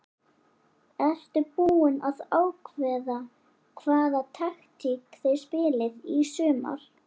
Ertu búinn að ákveða hvaða taktík þið spilið í sumar?